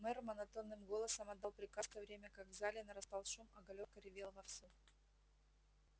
мэр монотонным голосом отдал приказ в то время как в зале нарастал шум а галёрка ревела вовсю